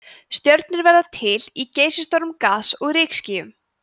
stjörnur verða til í geysistórum gas og rykskýjum